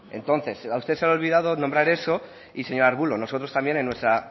entonces a usted se le ha olvidado nombrar eso y señor ruiz de arbulo nosotros también en nuestra